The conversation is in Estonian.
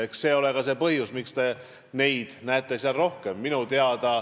Eks see ole ka põhjus, miks te neid seal rohkem näete.